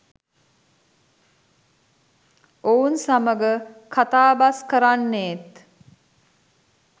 ඔවුන් සමග කතාබස් කරන්නේත්